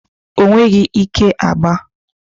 O nweghi ike agba.